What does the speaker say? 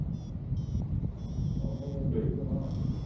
ਉਹਨੇ ਆਉਣਾ ਹੋਣਾ